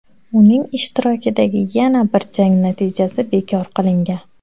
Uning ishtirokidagi yana bir jang natijasi bekor qilingan.